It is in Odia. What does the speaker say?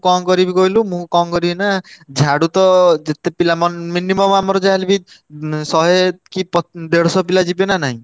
କଣ କରିବି କହିଲୁ ମୁଁ କଣ କରିବି ନା ଝାଡୁ ତ ଯେତେ ପିଲା ମନେ minimum ଆମର ଯାହା ହେଲେବି ଉଁ ଶହେ କି ପ~ ଦେଢସ ପିଲା ଯିବେ ନା ନାଇଁ।